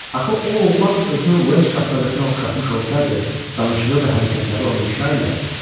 Axı o oğlan özünü Vels şahzadəsinə oxşatmış olsaydı, danışığı və hərəkətləri onu ifşa eləyərdi.